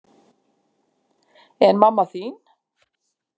En mamma þín?